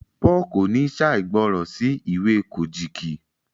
Paul kò ní ṣàìgbọràn sí ìwé Kojiki